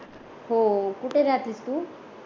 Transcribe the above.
हो कुठ राहतेत तू